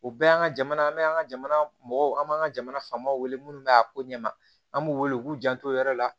O bɛɛ y'an ka jamana an bɛ an ka jamana mɔgɔw an b'an ka jamana faamaw wele minnu bɛ a ko ɲɛ ma an b'u wele u k'u janto o yɔrɔ la